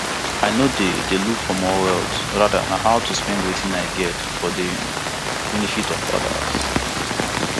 i no dey dey look for more wealth rather na how to spend wetin i get for di um benefit of odas